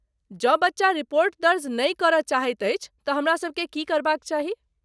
जँ बच्चा रिपोर्ट दर्ज नहि करय चाहैत अछि तँ हमरासबकेँ की करबाक चाही?